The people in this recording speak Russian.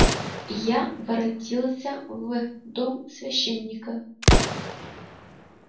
и я воротился в дом священника